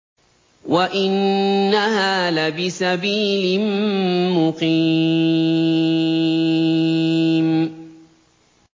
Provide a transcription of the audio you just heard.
وَإِنَّهَا لَبِسَبِيلٍ مُّقِيمٍ